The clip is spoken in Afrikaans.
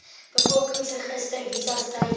bevolkingsregister visas tydelike